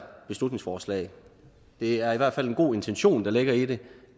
beslutningsforslag det er i hvert fald en god intention der ligger i det